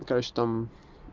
конечно там